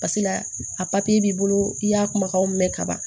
Pasekela a b'i bolo i y'a kumakanw mɛn ka ban